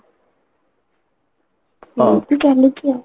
ସେମିତି ଚାଲିଛି ଆଉ